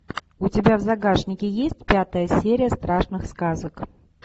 у тебя в загашнике есть пятая серия страшных сказок